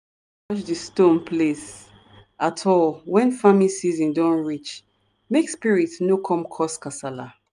di stone place at all when farming season don reach make spirits no come cause kasala